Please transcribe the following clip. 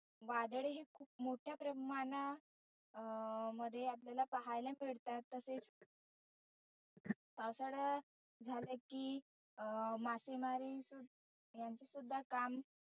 वादळ हे खुप मोठ्या प्रमाणा अं मध्ये आपल्याला पहायला मिळतात. तसेच पावसाळा सुरु झाला की अं मासेमारी यांचे सुद्धा काम